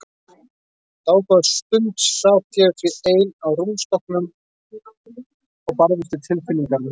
Dágóða stund sat ég því ein á rúmstokknum og barðist við tilfinningar mínar.